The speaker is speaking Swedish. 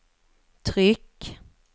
tryck